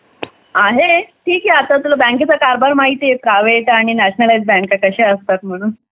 आहे ठीक आहे आता तुला बँके चा कारभार माहिती आहे एका वेळेचा आणि नॅशनलाईज बँकेचा कशा असतात म्हणून